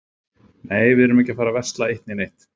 Nei, við erum ekkert að fara að versla eitt né neitt.